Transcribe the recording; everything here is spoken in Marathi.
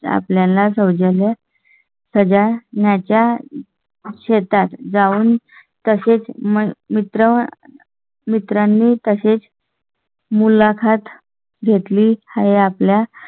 आपल्या ला जावया. प्रजा च्या शेतात जाऊन तसेच मित्र. मित्रांनी तसेच. मुला खात घेतली आहे. आपल्या